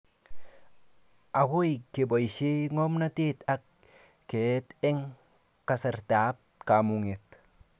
Akoi keboishe ngomnatet ak keet eng kasartaab kamunget